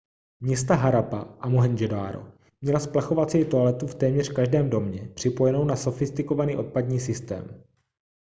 města harappa a mohendžodaro měla splachovací toaletu v téměř každém domě připojenou na sofistikovaný odpadní systém